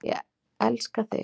Ég elska þig.